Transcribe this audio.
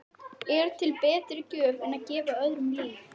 Er til betri gjöf en að gefa öðrum líf?